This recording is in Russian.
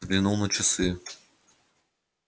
взглянул на часы